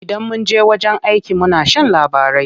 Idan munje wajen aiki muna shan labarai.